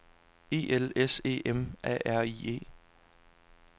E L S E M A R I E